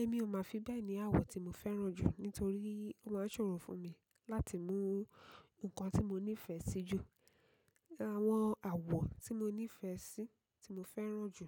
Èmi ò mà fi bẹ́ẹ̀ni àwọ̀ tí mo fẹ́ràn jù nítorí ó máa ń ṣòro fún mi láti mú nǹkan tí mo nífẹ̀ẹ́ sí jù. Àwọn àwọ̀ tí mo nífẹ̀ẹ́ sí tí mo fẹ́ràn jù,